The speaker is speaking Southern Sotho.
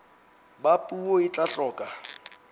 ba puo e tla hloka